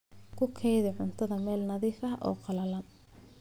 Ku kaydi cuntada meel nadiif ah oo qallalan.